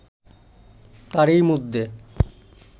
তারই মধ্যে